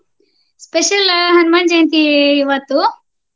special Hanuman Jayanti ಇವತ್ತು.